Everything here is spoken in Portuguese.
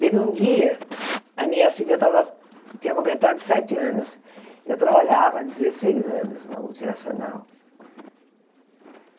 Teve um dia, a minha filha tava tinha completado sete anos, eu trabalhava há dezesseis anos na multinacional.